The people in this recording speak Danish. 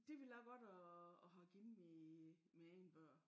Det ville jeg godt at at have givet mine mine egne børn